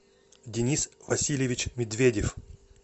денис васильевич медведев